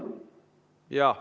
Jaa.